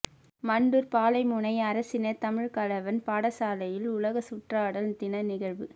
மண்டூர் பாலமுனை அரசினர் தமிழ்க்கலவன் பாடசாலையில் உலக சுற்றாடல் தின நிகழ்வு